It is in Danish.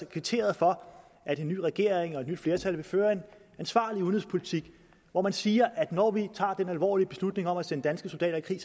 kvitteret for at en ny regering og et nyt flertal vil føre en ansvarlig udenrigspolitik hvor man siger at når vi tager den alvorlige beslutning om at sende danske soldater i